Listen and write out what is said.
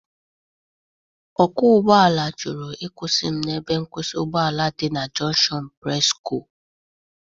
Ọkwọ ụgbọ ala jụrụ ịkwụsị m na ebe nkwụsị ụgbọ ala dị na junshọn Presco.